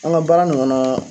An ka baara ninnu n'a